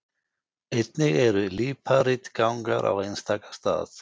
Einnig eru líparítgangar á einstaka stað.